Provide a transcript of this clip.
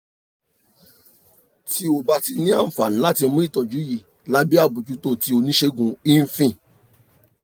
ti o ba ti ni anfani lati mu itọju yii labẹ abojuto ti onisegun infil